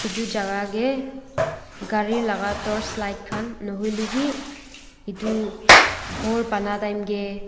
edu jaka kae gari laka torch light khan nahoilae bi edu khor banaitime kae.